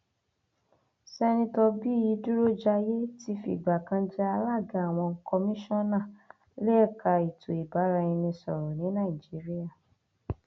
sèǹtẹtò bíyì dúrójàyé ti fìgbà kan jẹ alága àwọn kọmíṣánná léka ètò ìbáraẹnisọrọ ní nàìjíríà